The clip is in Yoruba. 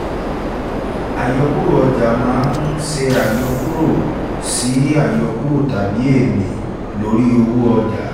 àyọkúrò ọjà a máa n ṣe àyọkúrò ṣe àyọkúrò tábí ènì lóri owó ọjà